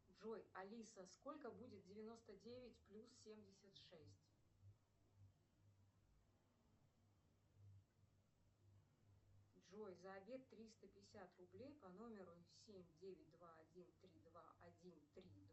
джой алиса сколько будет девяносто девять плюс семьдесят шесть джой за обед триста пятьдесят рублей по номеру семь девять два один три два один три